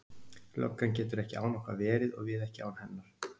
Löggan getur ekki án okkar verið og við ekki án hennar.